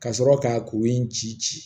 Ka sɔrɔ ka kuru in ci ci